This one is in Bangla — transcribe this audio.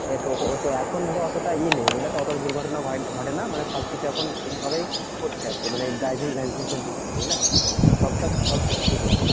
এ তো এখন ধরো অতটা ইয়ে নেই বুঝলে তো? অতটা দুর্ঘটনা হয় ঘটে না। মানে সবকিছু এখন ঠিক ভাবেই করছে আরকি। মানে driving licence এর দিক থেকে বুঝলে? এখন সব check করে চলছে।